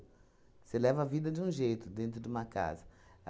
Você leva a vida de um jeito dentro de uma casa.